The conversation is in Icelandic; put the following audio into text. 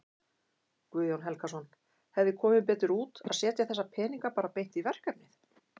Guðjón Helgason: Hefði komið betur út að setja þessa peninga bara beint í verkefnið?